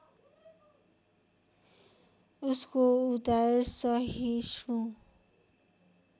उसको उदार सहिष्णु